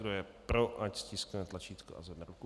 Kdo je pro, ať stiskne tlačítko a zvedne ruku.